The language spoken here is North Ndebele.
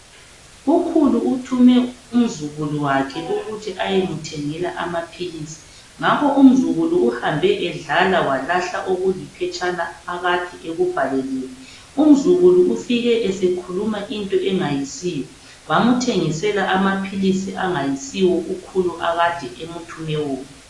Ukhulu uthume umzukulu wakhe ukuthi ayemthengela amaphilisi. Ngakho umzukulu uhambe edlala walahla okuliphetshana akade ekubhaleliwe. Umzukulu ufike esekhuluma into engasiyo. Bamthengisela amaphilisi angayisiwo ukhulu akade emthume wona.